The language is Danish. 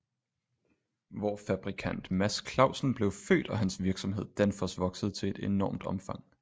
Hvor fabrikant mads clausen blev født og hans virksomhed danfoss voksede til et enormt omfang